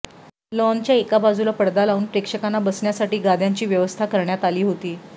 लाॅनच्या एका बाजूला पडदा लावून प्रेक्षकांना बसण्यासाठी गाद्यांची व्यवस्था करण्यात अाली हाेती